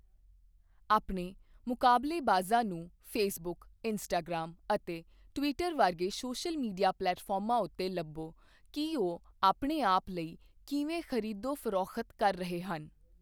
ਆਪਣੇ ਮੁਕਾਬਲੇਬਾਜ਼ਾਂ ਨੂੰ ਫੇਸਬੁੱਕ, ਇੰਸਟਾਗ੍ਰਾਮ ਅਤੇ ਟਵਿੱਟਰ ਵਰਗੇ ਸੋਸ਼ਲ ਮੀਡੀਆ ਪਲੇਟਫਾਰਮਾਂ ਉੱਤੇ ਲੱਭੋ ਕੀ ਉਹ ਆਪਣੇ ਆਪ ਲਈ ਕਿਵੇਂ ਖ਼ਰੀਦੋ ਫ਼ਰੋਖ਼ਤ ਕਰ ਰਹੇ ਹਨ।